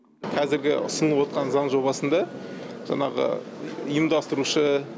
қазіргі ұсынып отқан отырған заң жобасында жаңағы ұйымдастырушы